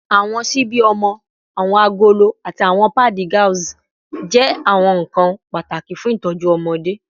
Awọn ṣibi ọmọ, awọn agolo, ati awọn paadi gauze jẹ awọn nkan pataki fun itọju ọmọde